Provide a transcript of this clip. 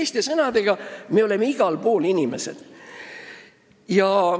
Ehk teiste sõnadega, me oleme igal pool inimesed.